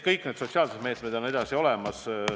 Kõik senised sotsiaalsed meetmed on endiselt olemas.